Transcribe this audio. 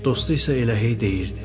Dostu isə elə hey deyirdi.